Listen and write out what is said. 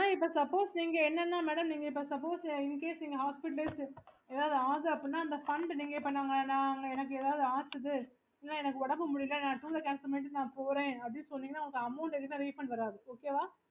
okay